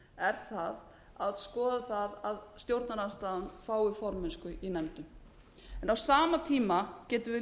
hlutann er að skoða það að stjórnarandstaðan fái formennsku í nefndum en á sama tíma getum við